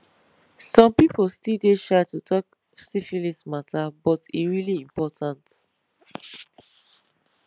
some people still dey shy to talk syphilis matter but e really important